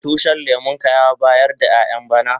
Tushin lemun ka ya bayar da ƴayan bana?